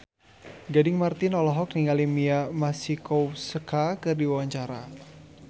Gading Marten olohok ningali Mia Masikowska keur diwawancara